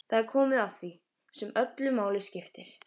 Það er komið að því sem öllu máli skiptir.